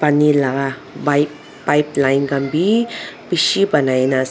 Ne laka pipe pipe line khan beh beshe banai kena as--